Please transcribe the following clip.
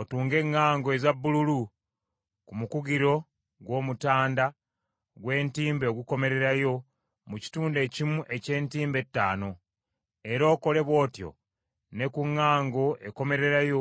Otunge eŋŋango eza bbululu ku mukugiro gw’omutanda gw’entimbe ogukomererayo mu kitundu ekimu eky’entimbe ettaano, era okole bw’otyo ne ku ŋŋango ekomererayo